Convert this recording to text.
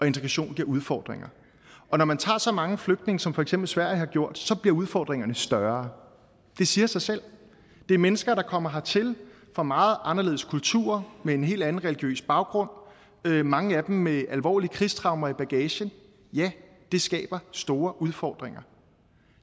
integration giver udfordringer og når man tager så mange flygtninge som for eksempel sverige har gjort bliver udfordringerne større det siger sig selv det er mennesker som kommer hertil fra meget anderledes kulturer med en helt anden religiøs baggrund mange af dem med alvorlige krigstraumer i bagagen ja det skaber store udfordringer